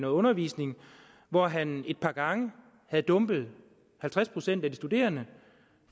undervisning hvor han et par gange havde dumpet halvtreds procent af de studerende